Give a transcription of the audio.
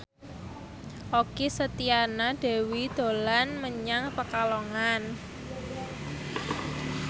Okky Setiana Dewi dolan menyang Pekalongan